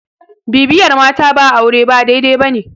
bibiyar mata ba aure ba dai- dai ba ne